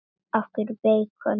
Af hverju beikon?